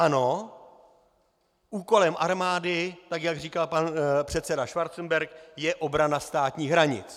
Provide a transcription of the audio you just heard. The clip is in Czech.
Ano, úkolem armády, tak jak říkal pan předseda Schwarzenberg, je obrana státních hranic.